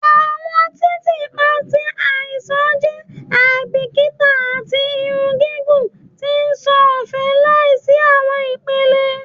Awọn titiipa ti nṣàn jẹ aibikita ati irun gigun ti nṣan ọfẹ laisi awọn ipele